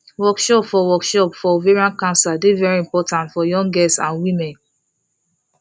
workshop for workshop for ovarian cancer dey very important for young girls and women